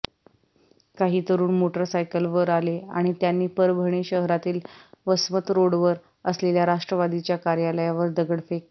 काही तरुण मोटरसायकलवर आले आणि त्यांनी परभणी शहरातील वसमत रोडवर असलेल्या राष्ट्रवादीच्या कार्यालयावर दगडफेक केली